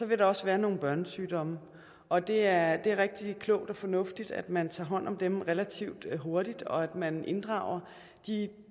vil der også være nogle børnesygdomme og det er er rigtig klogt og fornuftigt at man tager hånd om dem relativt hurtigt og at man inddrager de